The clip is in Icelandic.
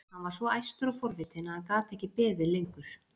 Hann var svo æstur og forvitinn að hann gat ekki beðið lengur.